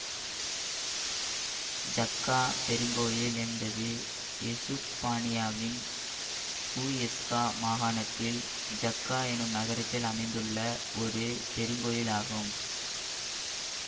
ஜக்கா பெருங்கோவில் என்பது எசுப்பானியாவின் ஹுஎஸ்கா மாகாணத்தில் ஜக்கா எனும் நகரத்தில் அமைந்துள்ள ஒரு பெருங்கோவில் ஆகும்